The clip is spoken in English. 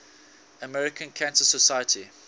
american cancer society